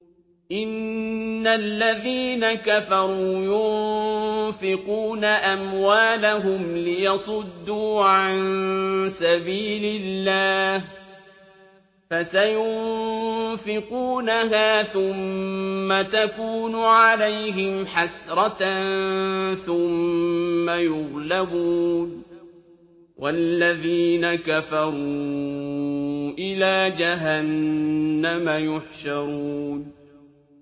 إِنَّ الَّذِينَ كَفَرُوا يُنفِقُونَ أَمْوَالَهُمْ لِيَصُدُّوا عَن سَبِيلِ اللَّهِ ۚ فَسَيُنفِقُونَهَا ثُمَّ تَكُونُ عَلَيْهِمْ حَسْرَةً ثُمَّ يُغْلَبُونَ ۗ وَالَّذِينَ كَفَرُوا إِلَىٰ جَهَنَّمَ يُحْشَرُونَ